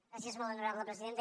gràcies molt honorable presidenta